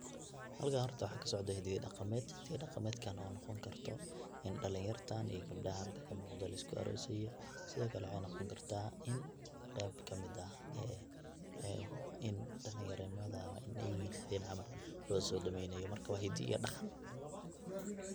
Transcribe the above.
Halkan horta waxa kasocda hidii iyo daqamet, hadii daqametkan oo noqoni karto in dalin yartan e gabdahan lisku arosaayo sidhokale waxan noqoni karta in qeyb kamiid ah in dalinyar nimadha sidheyna camal losodaweyna.